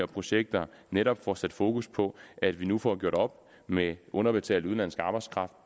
projekter netop får sat fokus på at vi nu får gjort op med underbetalt udenlandsk arbejdskraft